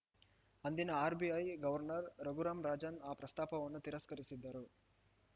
ಅಂದಿನ RBI governor Raghuram Rajan ಆ ಪ್ರಸ್ತಾಪವನ್ನು ತಿರಸ್ಕರಿಸಿದರು